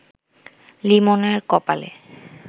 লিমনের কপালে